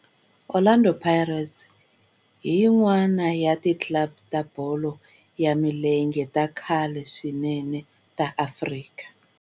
Orlando Pirates i yin'wana ya ti club ta bolo ya milenge ta khale swinene ta Afrika.